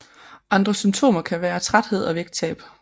Andre symptomer kan være træthed og vægttab